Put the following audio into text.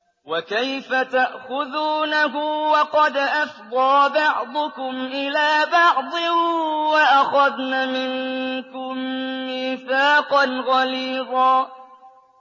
وَكَيْفَ تَأْخُذُونَهُ وَقَدْ أَفْضَىٰ بَعْضُكُمْ إِلَىٰ بَعْضٍ وَأَخَذْنَ مِنكُم مِّيثَاقًا غَلِيظًا